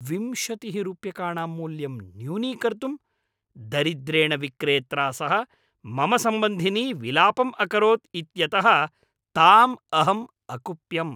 विंशतिः रूप्यकाणां मूल्यं न्यूनीकर्तुं दरिद्रेण विक्रेत्रा सह मम सम्बन्धिनी विलापम् अकरोत् इत्यतः ताम् अहम् अकुप्यम्।